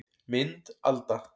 Mynd Alda